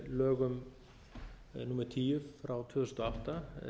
lögum númer tíu tvö þúsund og átta